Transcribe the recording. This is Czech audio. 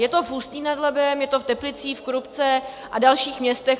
Je to v Ústí nad Labem, je to v Teplicích, v Krupce a dalších městech.